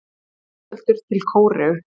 Framseldur til Króatíu